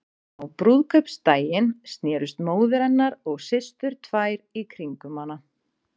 Á brúðkaupsdaginn snerust móðir hennar og systur tvær í kringum hana.